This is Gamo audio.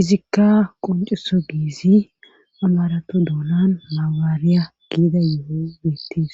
Izikka qonccisogessi amaratho dooona mabirarayiya gidayssi beetees.